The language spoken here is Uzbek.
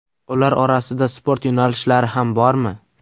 Ular orasida sport yo‘nalishlari ham bormi?